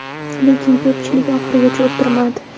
Lekin ko‘pchilik oxirigacha o‘tirmadi.